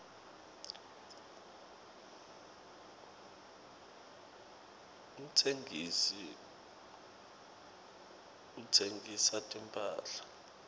umtsengisi uhsengisa timphahla